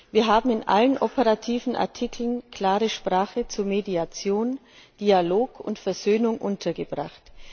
Wir haben in allen operativen Artikeln klare Sprache zu Mediation, Dialog und Versöhnung untergebracht.